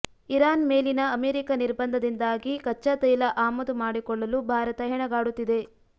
Iran ಮೇಲಿನ America ನಿರ್ಬಂಧದಿಂದಾಗಿ ಕಚ್ಚಾ ತೈಲ ಆಮದು ಮಾಡಿಕೊಳ್ಳಲು ಭಾರತ ಹೆಣಗಾಡುತ್ತಿದೆ